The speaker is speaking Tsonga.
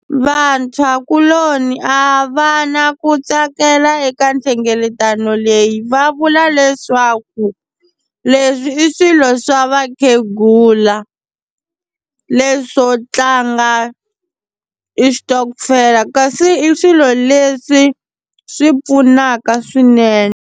Vantshwakuloni a va na ku tsakela eka nhlengeletano leyi va vula leswaku leswi i swilo swa va khegula leswo tlanga i xitokofela kasi i swilo leswi swi pfunaka swinene.